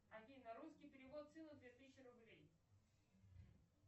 афина русский перевод сыну две тысячи рублей